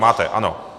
Máte, ano.